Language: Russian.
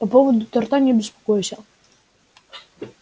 по поводу торта не беспокойся